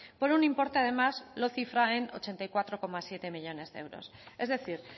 por un importe además lo cifra en ochenta y cuatro coma siete millónes de euros es decir